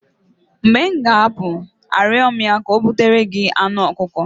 mgbe m ga-apụ arịọ ya ka o butere gị anụ ọkụkọ